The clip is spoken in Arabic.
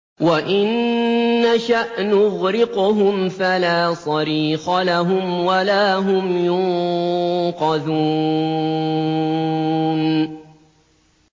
وَإِن نَّشَأْ نُغْرِقْهُمْ فَلَا صَرِيخَ لَهُمْ وَلَا هُمْ يُنقَذُونَ